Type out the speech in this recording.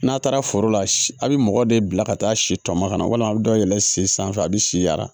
N'a taara foro la a bi mɔgɔ de bila ka taa si tɔmɔnɔ ka na walima a be dɔ yɛlɛ si sanfɛ a bi si yara